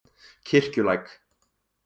Kirkjulæk